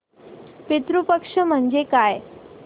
पितृ पक्ष म्हणजे काय